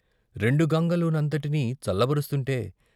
రెండు గంగలునంతటినీ చల్లబరుస్తుంటే.